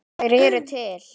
Þær eru til.